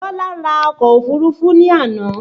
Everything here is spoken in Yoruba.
Bọlá ra ọkọ̀ òfúrufú ní àná